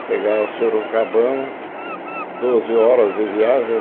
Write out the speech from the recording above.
Ah, pegava Sorocabana, Uhum doze horas de viagem.